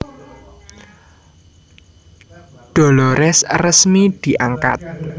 Dolores resmi diangkat